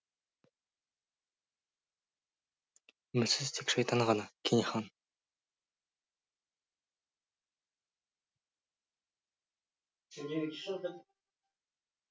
үмітсіз тек шайтан ғана кене хан